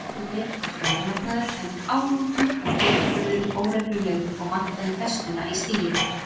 Ekki lengur beinn og fjaðurmagnaður, heldur álútur og fótaburðurinn óreglulegur og vantaði festuna í stigið.